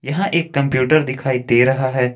यहां एक कंप्यूटर दिखाई दे रहा है।